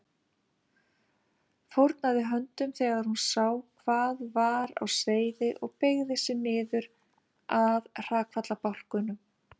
Fórnaði höndum þegar hún sá hvað var á seyði og beygði sig niður að hrakfallabálknum.